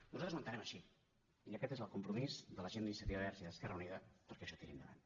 nosaltres ho entenem així i aquest és el compromís de la gent d’iniciativa verds i d’esquerra unida perquè això tiri endavant